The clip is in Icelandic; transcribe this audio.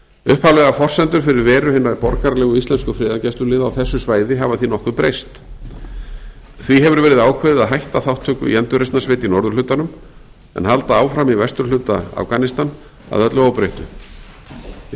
upphaflegar forsendur fyrir veru hinna borgaralegu íslensku friðargæsluliða á þessu svæði hafa því nokkuð breyst því hefur verið ákveðið að hætta þátttöku í endurreisnarsveit í norðurhlutanum en halda áfram í vesturhluta afganistan að öllu óbreyttu jafnframt